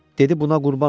Dedi buna qurban olum.